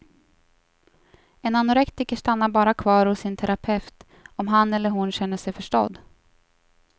En anorektiker stannar bara kvar hos sin terapeut om han eller hon känner sig förstådd.